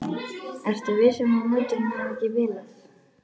Ertu viss um að mótorinn hafi ekki bilað?